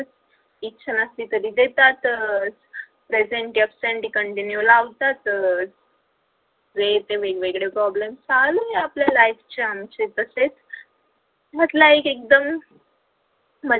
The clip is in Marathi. इच्छा असली तरी देतातच presentie absent continue लावतातच वेळेचे वेगवेगळे problem चालू आहे आपलं life chance तसेच घडला एक